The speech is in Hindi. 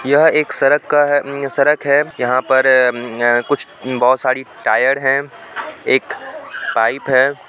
यह एक सड़क का है सड़क है यहां पर अअअअ मम्म कुछ ममम बहुत सारी टायर हैं एक पाइप है।